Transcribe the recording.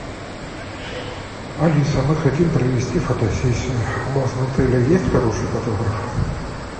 алиса мы хотим провести фотосессию у вас в отеле есть хороший фотограф